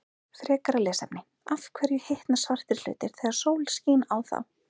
Frekara lesefni: Af hverju hitna svartir hlutir þegar sól skín á þá?